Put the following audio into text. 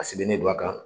A sigilen don a kan